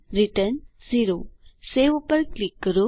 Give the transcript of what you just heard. return 0 save ઉપર click કરો